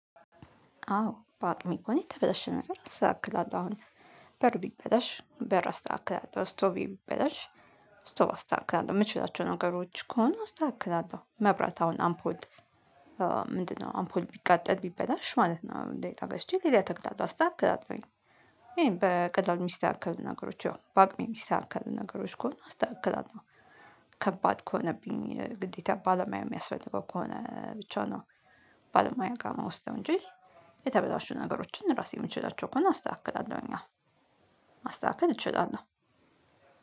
አዎ በአቅሜ እኮ እኔ የተበላሽ ነገር አስተካክላለው አሁን በር ቢበላሽ በር አስተካክል እስቶቭ ቢበላሽ እስቶቪ አስተካክላለሁ የምችላቸው ነገሮች ከሆኑ አስተካክላለሁ መብራት አሁን አምፖልት ምንድነው አምፖል ቢቃጠል ቢበላሽ ማለት ነው። እንደ እቃ ገስቼ ሌላ እተክላለሁ አስተካክላለሁኝ። ይሄን በቀላሉ የሚስተካከሉ ነገሮች ያው በአቅሜ የሚስተካከሉ ነገሮች ከሆነ አስተካክለለሁ። ከባድ ከሆነብኝ ግዴታ ባለሙያ የሚያስፈልገው ከሆነ ብቻው ነው ባለሙያ ጋር ምወሰድ እንጂ። የተበላሹ ነገሮችን ራሴ የምንችላቸው ከሆነ አስተካክላለሁ። ያው ማስተካከል እችላለሁ